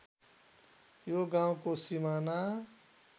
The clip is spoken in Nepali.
यो गाउँको सिमाना